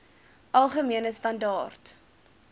algemene standaar